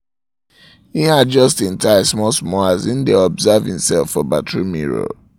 im adjust im tie small small as im im dae observe himself for bathroom mirror